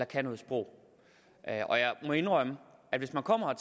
kan noget sprog og jeg må indrømme at hvis man kommer